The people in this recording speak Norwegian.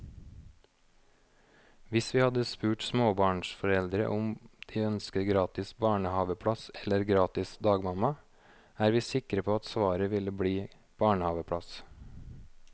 Hvis vi hadde spurt småbarnsforeldre om de ønsker gratis barnehaveplass eller gratis dagmamma, er vi sikre på at svaret ville bli barnehaveplass.